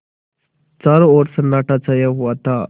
चारों ओर सन्नाटा छाया हुआ था